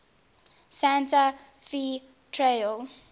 santa fe trail